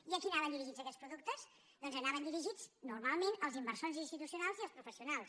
i a qui anaven dirigits aquests productes doncs anaven dirigits normalment als inversors institucionals i als professionals